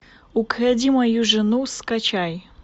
укради мою жену скачай